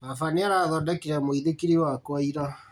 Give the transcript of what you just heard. Baba nĩarathondekire mũithikiri wakwa ira